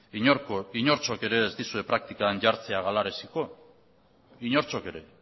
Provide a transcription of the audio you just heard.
inortxok ere ez dizue praktikan jartzea galaraziko inortxok ere